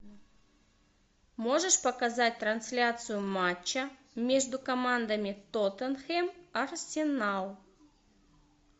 можешь показать трансляцию матча между командами тоттенхэм арсенал